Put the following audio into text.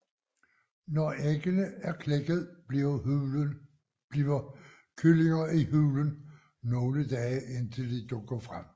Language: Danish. Når æggene er klækket bliver kyllingerne i hulen nogle dage indtil de dukker frem